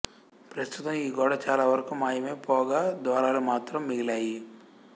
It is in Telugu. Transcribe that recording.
ప్రస్తుతం ఈ గోడ చాలావరకు మాయమై పోగా ద్వారాలు మాత్రం మిగిలాయి